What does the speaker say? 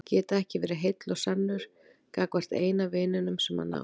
Geta ekki verið heill og sannur gagnvart eina vininum sem hann á.